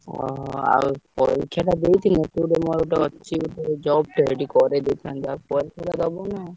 ଓହୋ! ଆଉ ପରୀକ୍ଷାଟା ଦେଇଥିଲେ ମୋର ଗୋଟେ ଅଛି ଗୋଟେ job ଟେ ସେଇଠି କରେଇଦେଇଥାନ୍ତି ଯାହା ହଉ ପରୀକ୍ଷାଟା ଦବୁନୁ ଆଉ।